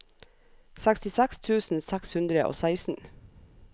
sekstiseks tusen seks hundre og seksten